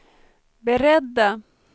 beredda